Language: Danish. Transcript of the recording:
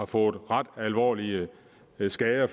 fået ret alvorlige skader